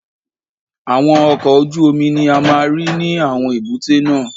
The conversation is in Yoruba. Àwọn ọkọ̀ ojú omi ni a máa ń rí ní àwọn èbúté náà.